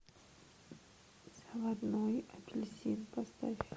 заводной апельсин поставь